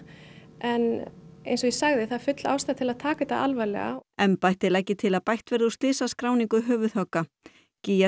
en eins og ég sagði þá er full ástæða til þess að taka þetta alvarlega embættið leggi til að bætt verði úr slysaskráninu höfuðhögga gígja